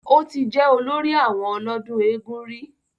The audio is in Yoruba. Ó ti jẹ́ olórí àwọn ọlọ́dún eégún rí